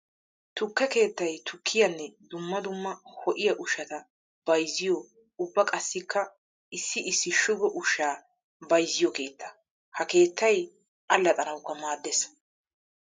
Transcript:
Tukke keettay tukkiyanne dumma dumma ho'iya ushshatta bayzziyo ubba qassikka issi issi shugo ushsha bayzziyo keetta. Ha keettay allaxxanawukka maades.